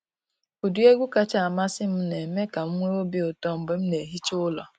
Ụdị egwu kachasị amasị m na eme ka m nwee obi ụtọ mgbe m na ehicha ụlọ.